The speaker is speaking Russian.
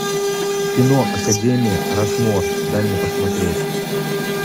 кино академия рашмор дай мне посмотреть